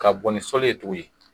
Ka bɔn ni sɔli ye